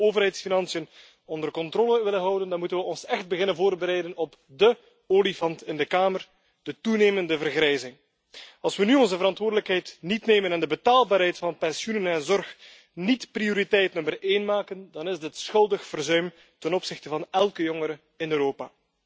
Als we de overheidsfinanciën onder controle willen houden, dan moeten we ons echt beginnen voorbereiden op dé olifant in de kamer de toenemende vergrijzing. Als we nu onze verantwoordelijkheid niet nemen en de betaalbaarheid van pensioenen en zorg niet prioriteit nummer één maken, dan is dit schuldig verzuim ten opzichte van elke jongere in Europa.